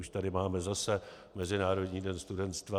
Už tady máme zase Mezinárodní den studenstva.